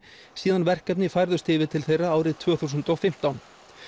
síðan verkefni færðust yfir til þeirra árið tvö þúsund og fimmtán